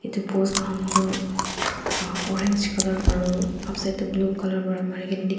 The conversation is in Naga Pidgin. itu post khan toh uhh orange colour aro upside toh blue colour pra marina dikhi--